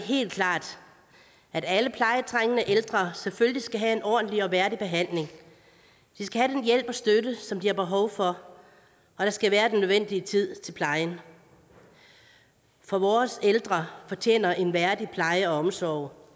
helt klart at alle plejetrængende ældre selvfølgelig skal have en ordentlig og værdig behandling de skal den hjælp og støtte som de har behov for og der skal være den nødvendige tid til plejen for vores ældre fortjener en værdig pleje og omsorg